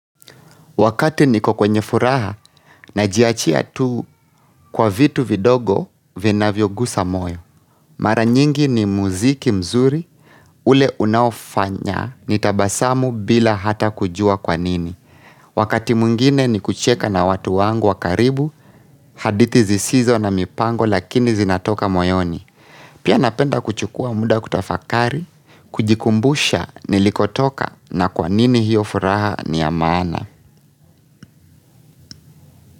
Wakati niko kwenye furaha najiachia tu kwa vitu vidogo vinavyogusa moyo. Mara nyingi ni muziki mzuri ule unaofanya nitabasamu bila hata kujua kwa nini. Wakati mwingine ni kucheka na watu wangu wa karibu hadithi zisizo na mipango lakini zinatoka moyoni. Pia napenda kuchukua muda kutafakari, kujikumbusha nilikotoka na kwa nini hiyo furaha niyamaana.